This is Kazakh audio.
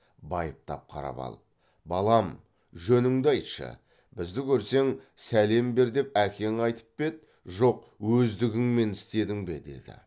байыптап қарап алып балам жөніңді айтшы бізді көрсең сәлем бер деп әкең айтып па еді жоқ өздігіңмен істедің бе деді